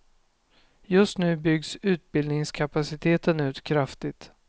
Just nu byggs utbildningskapaciteten ut kraftigt.